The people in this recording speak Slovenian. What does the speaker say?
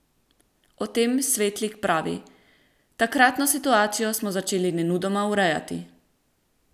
O tem Svetlik pravi: "Takratno situacijo smo začeli nemudoma urejati.